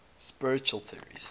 spiritual theories